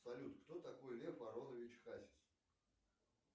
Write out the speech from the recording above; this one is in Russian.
салют кто такой лев аронович хасис